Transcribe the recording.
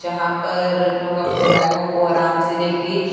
यहां पर लोग अपने बैगों को आराम से ले के--